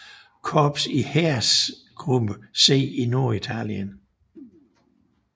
Korps i Heeresgruppe C i Norditalien